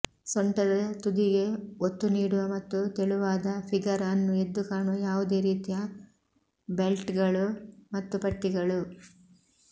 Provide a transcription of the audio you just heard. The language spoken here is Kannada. ಸೊಂಟದ ತುದಿಗೆ ಒತ್ತು ನೀಡುವ ಮತ್ತು ತೆಳುವಾದ ಫಿಗರ್ ಅನ್ನು ಎದ್ದು ಕಾಣುವ ಯಾವುದೇ ರೀತಿಯ ಬೆಲ್ಟ್ಗಳು ಮತ್ತು ಪಟ್ಟಿಗಳು